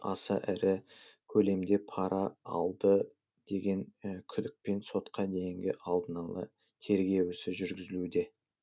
аса ірі көлемде пара алды деген күдікпен сотқа дейінгі алдын ала тергеу ісі жүргізілуде